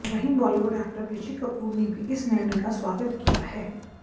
वहीं बॉलीवुड एक्टर ऋषि कपूर ने भी इस निर्णय का स्वागत किया है